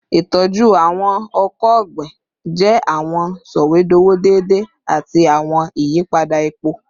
Itọju awọn ọkọ ogbin jẹ awọn sọwedowo deede ati awọn iyipada epo